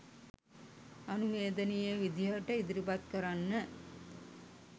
අනුවේදනීය විදිහට ඉදිරිපත් කරන්න